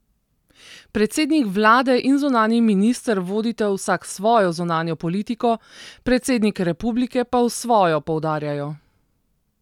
Predsednik vlade in zunanji minister vodita vsak svojo zunanjo politiko, predsednik republike pa svojo, poudarjajo.